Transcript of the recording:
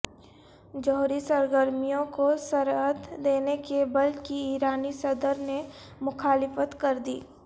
جوہری سرگرمیوں کو سرعت دینے کے بل کی ایرانی صدر نے مخالفت کردی